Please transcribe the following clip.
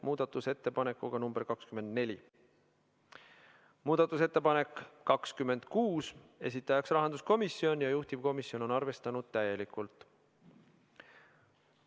Muudatusettepanek nr 26, esitajaks on rahanduskomisjon ja juhtivkomisjon on arvestanud seda täielikult.